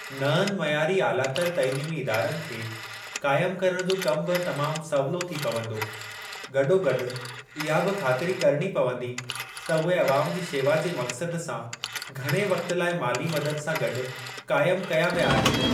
नअंनि मयारी आलातर तइलीमी इदारनि खे क़ाइम करणु जो कमु बि तमाम सवलो थी पवंदो, गॾोगॾु इहा बि ख़ातिरी करिणी पवंदी त उहे अवाम जी शेवा जे मक़्सद सां घणे वक़्ति लाइ माली मदद सां गॾु काइमु कया विया आहिनि।